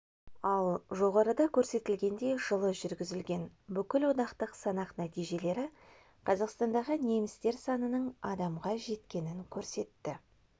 ал жоғарыда көрсетілгендей жылы жүргізілген бүкілодақтық санақ нәтижелері қазақстандағы немістер санының адамға жеткенін көрсетті